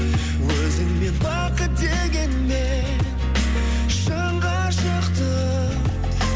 өзіңмен бақыт дегенмен шын ғашықтық